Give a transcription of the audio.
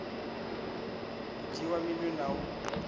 u dzhiiwa minwe na u